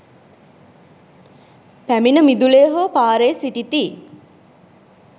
පැමිණ මිදුලේ හෝ පාරේ සිටිති.